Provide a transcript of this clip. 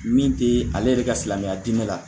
Min te ale yɛrɛ ka silamɛya diinɛ la